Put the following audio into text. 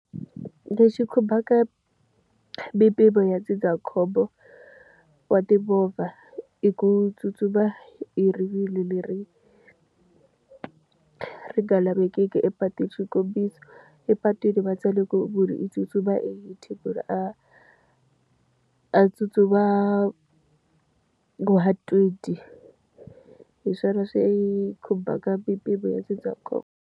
Lexi khumbaka mimpimo ya ndzindzakhombo wa timovha i ku tsutsuma hi rivilo leri, ri nga lavekeki epatwini. Xikombiso epatwini va tsale ku munhu i tsutsuma ku ri a a tsutsuma . Hi swona swi khumbaka mimpimo ya ndzindzakhombo.